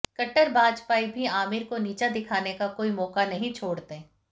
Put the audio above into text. कट्टर भाजपाई भी आमिर को नीचा दिखाने का कोई मौका नहीं छोड़ते